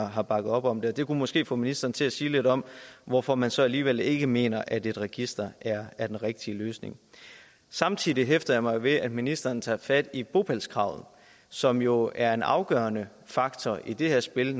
har bakket op om det det kunne måske få ministeren til at sige lidt om hvorfor man så alligevel ikke mener at et register er er den rigtige løsning samtidig hæfter jeg mig ved at ministeren tager fat i bopælskravet som jo er en afgørende faktor i det her spil i